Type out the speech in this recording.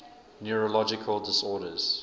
neurological disorders